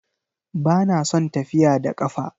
Ba na son tafiya da ƙafa